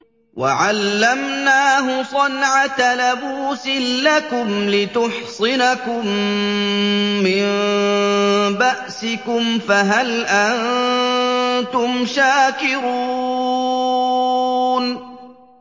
وَعَلَّمْنَاهُ صَنْعَةَ لَبُوسٍ لَّكُمْ لِتُحْصِنَكُم مِّن بَأْسِكُمْ ۖ فَهَلْ أَنتُمْ شَاكِرُونَ